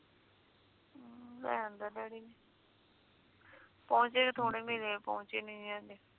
ਲੈ ਆਉਦਾ ਡੈਡੀ ਨੇ ਪੌਚੇ ਥੋੜੇ ਮਿਲੇ ਪੌਚੇ ਨੀ ਹੈਗੇ